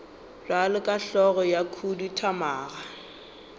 bjalo ka hlogo ya khuduthamaga